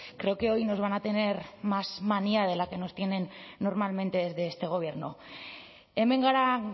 creo que hoy nos van a tener más manía de la que nos tienen normalmente desde este gobierno hemen gara